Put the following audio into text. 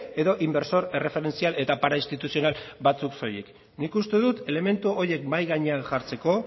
edo inbertsore erreferentzial eta parainstituzional batzuk soilik nik uste dut elementu horiek mahai gainean jartzeko